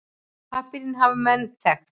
Pappírinn hafa menn þekkt.